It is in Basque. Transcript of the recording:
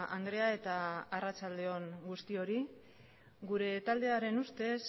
andrea eta arratsalde on guztioi gure taldearen ustez